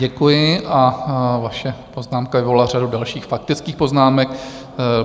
Děkuji a vaše poznámka vyvolala řadu dalších faktických poznámek.